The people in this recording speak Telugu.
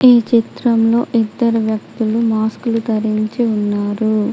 ఈ చిత్రంలో ఇద్దరు వ్యక్తులు మాస్క్ లు ధరించి ఉన్నారు.